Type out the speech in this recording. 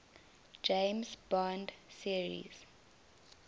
james bond series